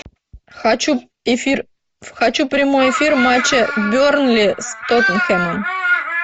хочу эфир хочу прямой эфир матча бернли с тоттенхэмом